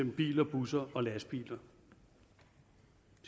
biler busser og lastbiler